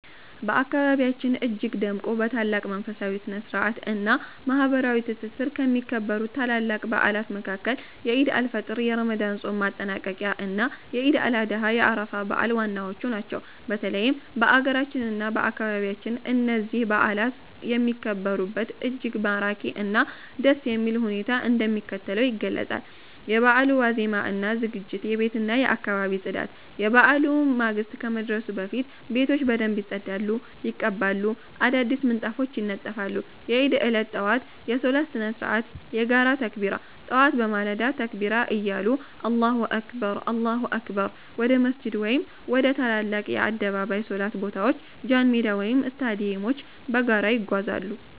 በአካባቢያችን እጅግ ደምቆ፣ በታላቅ መንፈሳዊ ስነ-ስርዓት እና ማህበራዊ ትስስር ከሚከበሩት ታላላቅ በዓላት መካከል የዒድ አል-ፊጥር የረመዳን ጾም ማጠናቀቂያ እና የዒድ አል-አድሃ የአረፋ በዓል ዋናዎቹ ናቸው። በተለይም በአገራችን እና በአካባቢያችን እነዚህ በዓላት የሚከበሩበት እጅግ ማራኪ እና ደስ የሚል ሁኔታ እንደሚከተለው ይገለጻል፦ የበዓሉ ዋዜማ እና ዝግጅት የቤትና የአካባቢ ማፅዳት፦ የበዓሉ ማግስት ከመድረሱ በፊት ቤቶች በደንብ ይጸዳሉ፣ ይቀባሉ፣ አዳዲስ ምንጣፎች ይነጠፋሉ። የዒድ ዕለት ጠዋት የሶላት ስነ-ስርዓት የጋራ ተክቢራ፦ ጠዋት በማለዳ ተክቢራ እያሉ አላሁ አክበር፣ አላሁ አክበር... ወደ መስጂድ ወይም ወደ ትላልቅ የአደባባይ ሶላት ቦታዎች ጃንሜዳ ወይም ስታዲየሞች በጋራ ይጓዛሉ።